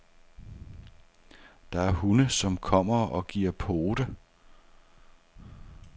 Der er hunde, som kommer og giver pote.